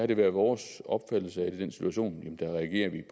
det er vores opfattelse at vi i den situation